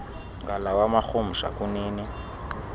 ngalawa marhumsha kunini